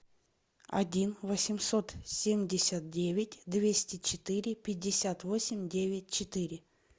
один восемьсот семьдесят девять двести четыре пятьдесят восемь девять четыре